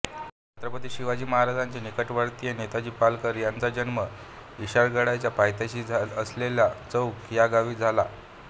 छत्रपती शिवाजी महाराजांचे निकटवर्तीय नेताजी पालकर यांचा जन्म इरशाळगडाच्या पायथ्याशी असलेल्या चौक ह्या गावी झाला